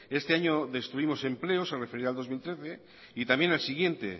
este año destruimos empleo se referirá al dos mil trece y también al siguiente